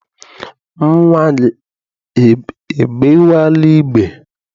Nnwa gị egbewela igbe?